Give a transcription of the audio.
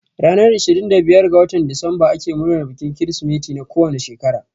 Ranar ishirin da biyar ga watan disemba ake murnan bikin Kirsimeti na kowane shekara